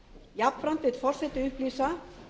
jafnframt vill forseti upplýsa